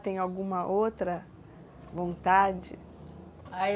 Tem alguma outra vontade? Ah, eu